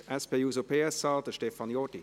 Für die SP-JUSO-PSA-Fraktion: Stefan Jordi.